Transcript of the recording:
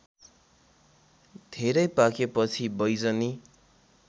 धेरै पाकेपछि बैजनी